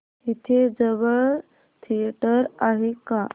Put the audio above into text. इथे जवळ थिएटर आहे का